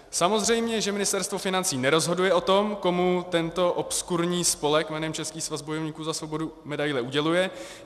Samozřejmě, že Ministerstvo financí nerozhoduje o tom, komu tento obskurní spolek jménem Český svaz bojovníků za svobodu medaile uděluje.